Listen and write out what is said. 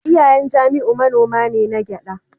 Iyayen Jamiu manoma ne na gyada